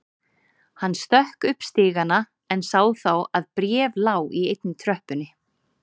Hann stökk upp stigana en sá þá að bréf lá í einni tröppunni.